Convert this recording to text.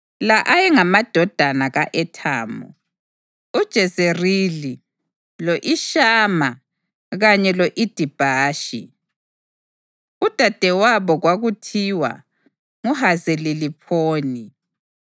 La ayengamadodana ka-Ethamu: uJezerili, lo-Ishima kanye lo-Idibhashi. Udadewabo kwakuthiwa nguHazeleliphoni.